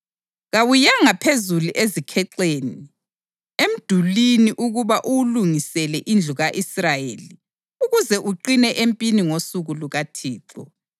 Kawuyanga phezulu ezikhexeni emdulini ukuba uwulungisele indlu ka-Israyeli ukuze uqine empini ngosuku lukaThixo.